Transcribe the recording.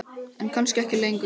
En kannski ekki lengur.